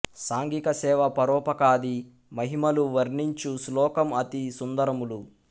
సాంఘిక సేవ పరోపకాది మహిమలు వర్ణించు శ్లోకము అతి సుందరములు